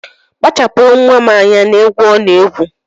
Kpachapụrụ nnwa m anya n'egwu ọ na-egwu